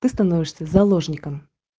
ты становишься заложником